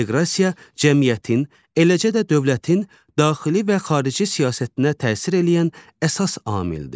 İnteqrasiya cəmiyyətin, eləcə də dövlətin daxili və xarici siyasətinə təsir eləyən əsas amildir.